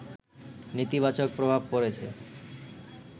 নেতিবাচক প্রভাব পড়েছে